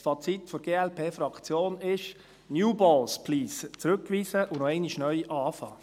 Das Fazit der glp-Faktion ist: «New balls, please»; zurückweisen und noch einmal neu anfangen.